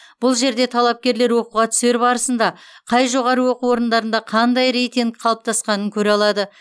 бұл жерде талапкерлер оқуға түсер барысында қай жоғарғы оқу орындарында қандай рейтинг қалыптасқанын көре алады